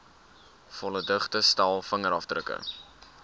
volledige stel vingerafdrukke